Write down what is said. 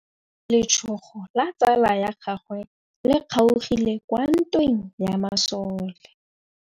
Letsôgô la tsala ya gagwe le kgaogile kwa ntweng ya masole.